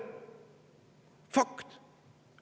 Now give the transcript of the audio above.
See on fakt.